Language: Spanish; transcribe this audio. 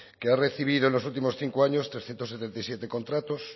que ha recibido en los últimos cinco años trescientos setenta y siete contratos